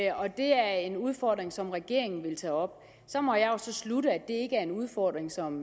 og at det er en udfordring som regeringen vil tage op så må jeg jo slutte at ikke er en udfordring som